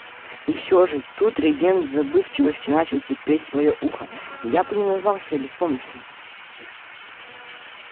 и всё же тут регент в забывчивости начал терпеть своё ухо я бы не назвал себя беспомощным